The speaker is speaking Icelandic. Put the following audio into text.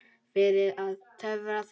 Fyrir að töfra þau fram.